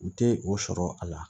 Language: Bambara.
U tɛ o sɔrɔ a la